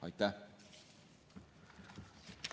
Aitäh!